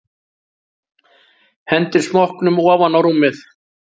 Hendir smokknum ofan á rúmið.